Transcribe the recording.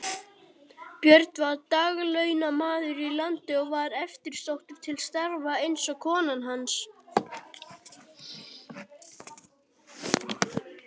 Björn var daglaunamaður í landi og var eftirsóttur til starfa eins og kona hans.